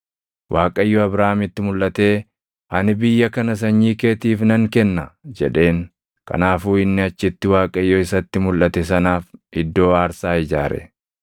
Waaqayyo Abraamitti mulʼatee, “Ani biyya kana sanyii keetiif nan kenna” jedheen. Kanaafuu inni achitti Waaqayyo isatti mulʼate sanaaf iddoo aarsaa ijaare.